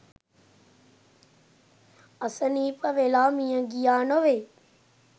අසනීප වෙලා මියගියා නොවෙයි.